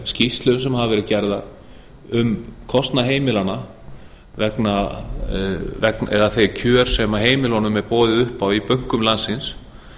skýrslum sem hafa verið gerðar um kostnað heimilanna eða þau kjör sem heimilunum er boðið upp á í bönkum landsins